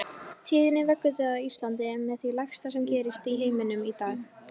Tíðni vöggudauða á Íslandi er með því lægsta sem gerist í heiminum í dag.